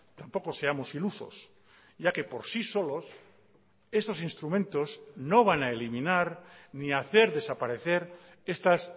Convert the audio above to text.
tampoco seamos ilusos ya que por sí solos estos instrumentos no van a eliminar ni hacer desaparecer estas